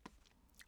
TV 2